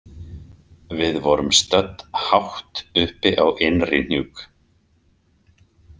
Við vorum stödd hátt uppi á Innrihnjúk.